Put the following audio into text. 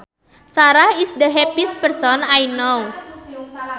Sarah is the happiest person I know